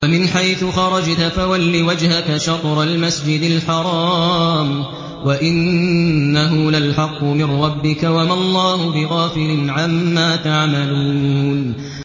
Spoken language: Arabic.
وَمِنْ حَيْثُ خَرَجْتَ فَوَلِّ وَجْهَكَ شَطْرَ الْمَسْجِدِ الْحَرَامِ ۖ وَإِنَّهُ لَلْحَقُّ مِن رَّبِّكَ ۗ وَمَا اللَّهُ بِغَافِلٍ عَمَّا تَعْمَلُونَ